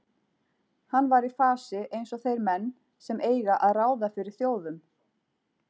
Hann var í fasi eins og þeir menn sem eiga að ráða fyrir þjóðum.